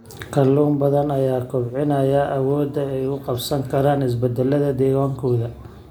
Kalluun badan ayaa kobcinaya awoodda ay ula qabsan karaan isbeddellada deegaankooda.